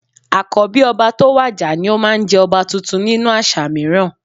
Àkọ́bí ọba tó bá wàjà ni ó máa ń jẹ ọba tuntun nínú àṣà mìíràn